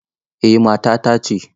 Eh matata ce.